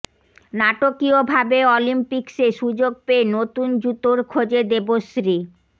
নাটকীয় ভাবে অলিম্পিক্সে সুযোগ পেয়ে নতুন জুতোর খোঁজে দেবশ্রী